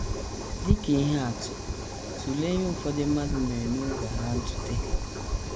Dị ka ihe atụ, tụlee ihe ụfọdụ mmadụ mere n’oge Agha Ntụte.